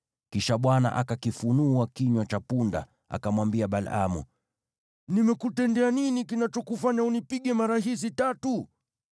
Kisha Bwana akakifungua kinywa cha punda, akamwambia Balaamu, “Nimekutendea nini kinachokufanya unipige mara hizi tatu?”